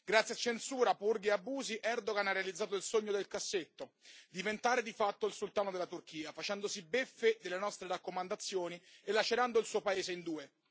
Grazie a censura, purghe e abusi, Erdogan ha realizzato il sogno nel cassetto, diventare di fatto il sultano della Turchia, facendosi beffe delle nostre raccomandazioni e lacerando il suo paese in due.